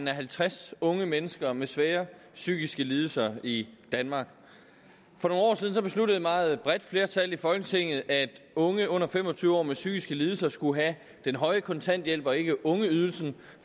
halvtreds unge mennesker med svære psykiske lidelser i danmark for nogle år siden besluttede et meget bredt flertal i folketinget at unge under fem og tyve år med psykiske lidelser skulle have den høje kontanthjælp og ikke ungeydelsen